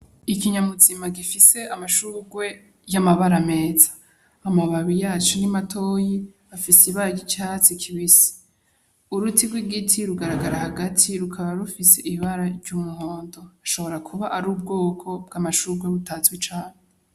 Ikinyabuzima gifise amashurwe y'amabara meza. Amababi yaco ni matoyi, afise ibara ry'icatsi kibisi. Uruti rw'igiti rugaragara hagati rukaba rufise ibara ry'umuhondo. Rushobora ar'ubwoko bw'amashurwe butazwi cane.